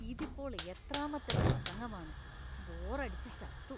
ഇതിപ്പോൾ എത്രാമത്തെ പ്രസംഗമാണ്; ബോറടിച്ച് ചത്തു.